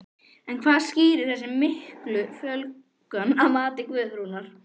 En hvað skýrir þessa miklu fjölgun að mati Guðrúnar?